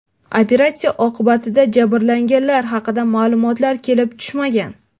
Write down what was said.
Operatsiya oqibatida jabrlanganlar haqida ma’lumotlar kelib tushmagan.